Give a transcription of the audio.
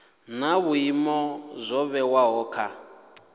na vhuimo zwo vhewaho kha